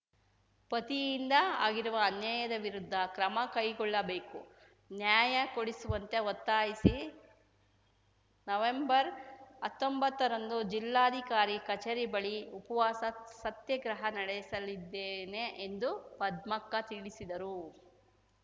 ಪತಿಯಿಂದ ಆಗಿರುವ ಅನ್ಯಾಯದ ವಿರುದ್ಧ ಕ್ರಮ ಕೈಗೊಳ್ಳಬೇಕು ನ್ಯಾಯ ಕೊಡಿಸುವಂತೆ ಒತ್ತಾಯಿಸಿ ನವೆಂಬರ್ಹತ್ತೊಂಬತ್ತರಂದು ಜಿಲ್ಲಾಧಿಕಾರಿ ಕಚೇರಿ ಬಳಿ ಉಪವಾಸ ಸತ್ಯಾಗ್ರಹ ನಡೆಸಲಿದ್ದೇನೆ ಎಂದು ಪದ್ಮಕ್ಕ ತಿಳಿಸಿದರು